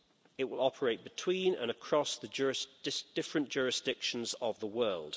It will operate between and across the different jurisdictions of the world.